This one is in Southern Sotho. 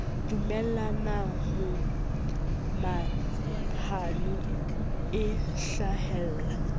dumellana mo mahano e hlahella